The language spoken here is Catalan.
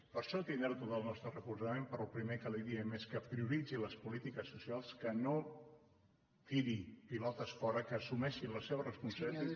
per això tindrà tot el nostre recolzament pe·rò el primer que li diem és que prioritzi les polítiques socials que no tiri pilotes fora que assumeixi la seva responsabilitat